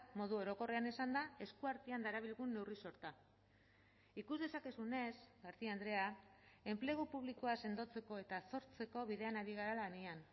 modu orokorrean esanda eskuartean darabilgun neurri sorta ikus dezakezunez garcia andrea enplegu publikoa sendotzeko eta sortzeko bidean ari gara lanean